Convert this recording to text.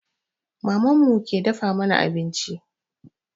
Maman mu ke dafa mana abinci